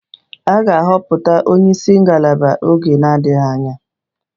A ga-ahọpụta onye isi ngalaba n'oge na-adịghị anya